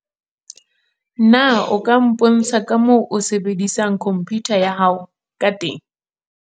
Na o ka mpontsha ka moo o sebedisang khomputa ya hao ka teng?